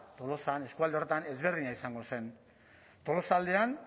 tolosan eskualde horretan ezberdina izango zen tolosaldean